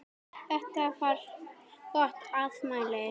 Þetta var gott afmæli.